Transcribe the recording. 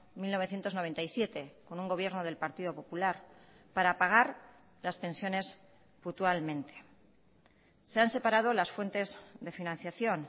mil novecientos noventa y siete con un gobierno del partido popular para pagar las pensiones puntualmente se han separado las fuentes de financiación